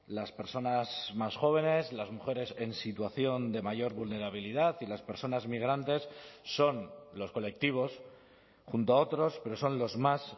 las personas más jóvenes las mujeres en situación de mayor vulnerabilidad y las personas migrantes son los colectivos junto a otros pero son los más